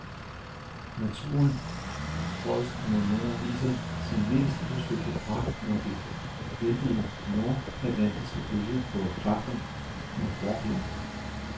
Naturen højst mod nord viser sin mest udsøgte pragt, når de vældige nordatlantiske bølger prøver kræfter med forbjerget.